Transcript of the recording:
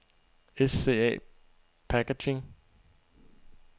SCA PACKAGING